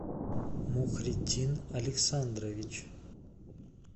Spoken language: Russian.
мухриддин александрович